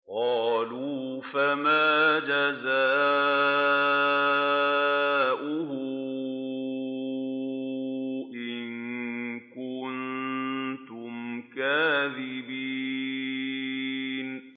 قَالُوا فَمَا جَزَاؤُهُ إِن كُنتُمْ كَاذِبِينَ